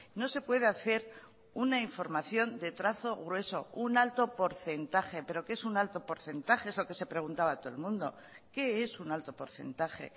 no se puede hacer una información de trazo grueso un alto porcentaje pero que es un alto porcentaje es lo que se preguntaba todo el mundo qué es un alto porcentaje